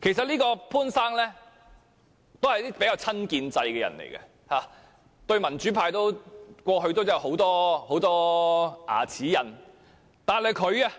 其實，潘先生是比較親建制的人，過去與民主派有很多"牙齒印"，但他也